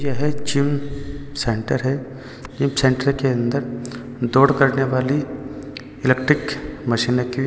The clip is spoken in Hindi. यह जिम सेंटर है जिम सेंटर के अंदर दौड़ करने वाली इलेक्ट्रिक मशीन रखी हुई--